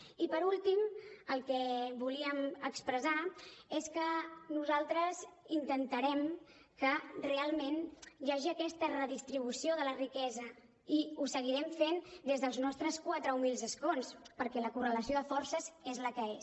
i per últim el que volíem expressar és que nosaltres intentarem que realment hi hagi aquesta redistribució de la riquesa i ho seguirem fent des dels nostres quatre humils escons perquè la correlació de forces és la que és